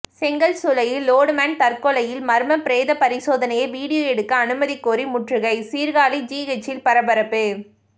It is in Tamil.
செங்கல் சூளையில் லோடுமேன் தற்கொலையில் மர்மம் பிரேத பரிசோதனையை வீடியோ எடுக்க அனுமதி கோரி முற்றுகை சீர்காழி ஜிஹெச்சில் பரபரப்பு